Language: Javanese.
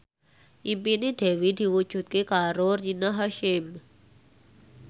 impine Dewi diwujudke karo Rina Hasyim